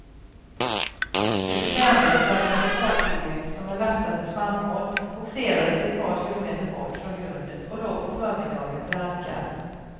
Det bekvämlighetsflaggade fartyget som är lastat med spannmål bogserades ett par kilometer bort från grundet och låg på förmiddagen för ankar.